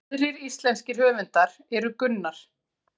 Aðrir íslenskir höfundar eru Gunnar